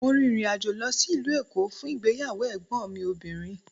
Mo rin ìrìnàjò lọ sí ìlú Èkó fún ìgbéyàwó Ègbón mi obìnrin